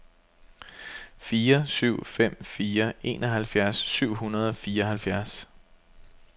fire syv fem fire enoghalvfjerds syv hundrede og fireoghalvfjerds